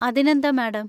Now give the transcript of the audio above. അതിനെന്താ മാഡം.